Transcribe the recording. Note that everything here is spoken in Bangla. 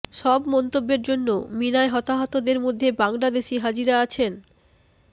সব মন্তব্যের জন্য মিনায় হতাহতদের মধ্যে বাংলাদেশি হাজিরা আছেন